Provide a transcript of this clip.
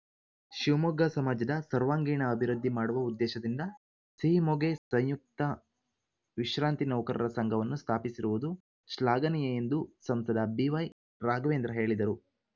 ಶಿವಮೊಗ್ಗ ಸಮಾಜದ ಸರ್ವಾಂಗಿಣ ಅಭಿವೃದ್ಧಿ ಮಾಡುವ ಉದ್ದೇಶದಿಂದ ಸಿಹಿಮೊಗೆ ಸಂಯುಕ್ತ ವಿಶ್ರಾಂತಿ ನೌಕರರ ಸಂಘವನ್ನು ಸ್ಥಾಪಿಸಿರುವುದು ಶ್ಲಾಘನೀಯ ಎಂದು ಸಂಸದ ಬಿವೈರಾಘವೇಂದ್ರ ಹೇಳಿದರು